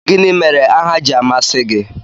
Gịnị mere aha ji amasị gị?